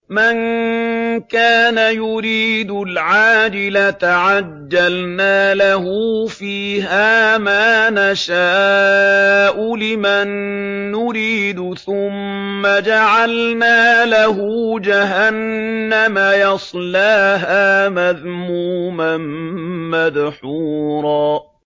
مَّن كَانَ يُرِيدُ الْعَاجِلَةَ عَجَّلْنَا لَهُ فِيهَا مَا نَشَاءُ لِمَن نُّرِيدُ ثُمَّ جَعَلْنَا لَهُ جَهَنَّمَ يَصْلَاهَا مَذْمُومًا مَّدْحُورًا